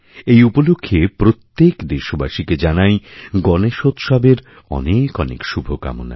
এই উপলক্ষে প্রত্যেকদেশবাসীকে জানাই গণেশোৎসবের অনেক অনেক শুভকামনা